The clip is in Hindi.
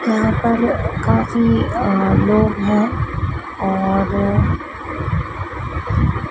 वहां पर काफी अ लोग हैं और--